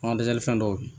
An ka dɛsɛli fɛn dɔw